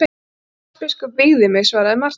Sjálandsbiskup vígði mig, svaraði Marteinn.